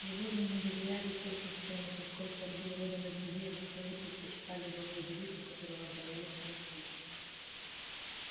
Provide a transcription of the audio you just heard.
животные не доверяли пилкингтону поскольку он был родом из людей но все же предпочитали его фредерику которого боялись и ненавидели